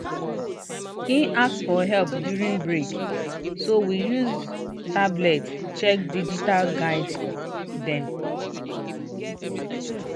e ask for help during break so we use tablet check digital guide dem